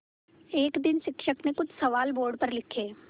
एक दिन शिक्षक ने कुछ सवाल बोर्ड पर लिखे